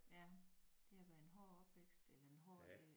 Ja det har været en hårdt opvækst eller en hård øh